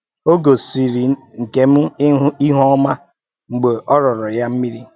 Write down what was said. Ó gòsìrì Nkem íhù-ọ́má mgbe ọ rìrọ̀rọ̀ ya mmírí